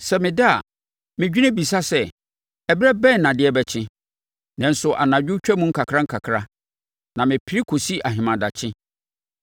Sɛ meda a, medwene bisa sɛ, ‘Ɛberɛ bɛn na adeɛ bɛkye?’ Nanso anadwo twam nkakrankakra, na mepere kɔsi ahemadakye.